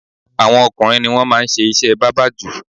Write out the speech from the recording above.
Awọn ọkùnrin ni wọ́n máa ń ṣe iṣẹ́ bábà jù.